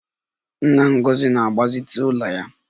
Nna Ngozi na-agbazite ụlọ ya